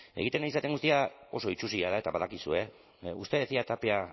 egiten ari zaren guztia oso itsusia da eta badakizue usted decía tapia